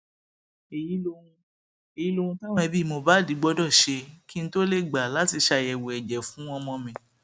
èyí lohun èyí lohun táwọn ẹbí mohbad gbọdọ ṣe kí n tóó lè gbà láti ṣàyẹwò ẹjẹ fún ọmọ mi